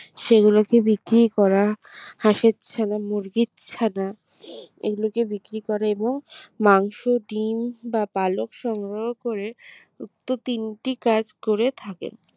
সেগুলোকে বিক্রি করা হাঁসের ছানা মুরগির ছানা এগুলোকে বিক্রি করা এবং মাংস ডিম বা পালক সংগ্রহ করে উক্ত তিনটি কাজ করে থাকেন।